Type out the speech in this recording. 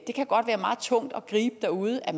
det kan godt være meget tungt at gribe derude at